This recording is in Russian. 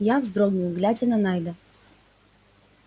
я вздрогнул глядя на найда